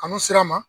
Kanu sera ma